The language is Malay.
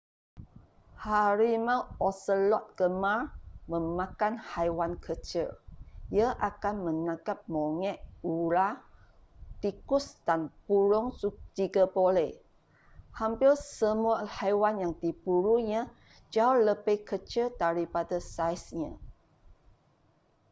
harimau oselot gemar memakan haiwan kecil ia akan menangkap monyet ular tikus dan burung jika boleh hampir semua haiwan yang diburunya jauh lebih kecil daripada saiznya